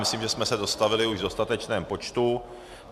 Myslím, že jsme se dostavili už v dostatečném počtu.